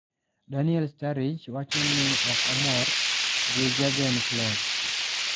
Daniel Sturridge wacho ni ok omor gi Jurgen Klopp